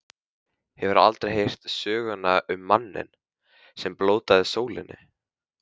Hefurðu aldrei heyrt söguna um manninn, sem blótaði sólinni.